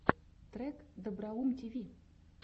трек доброум тиви